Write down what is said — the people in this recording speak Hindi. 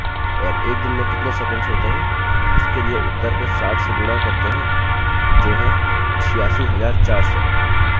और एक दिन में कितने सेकंड्स होते हैं उसके लिए उत्तर को 60 से गुणा करते हैं जो है 86400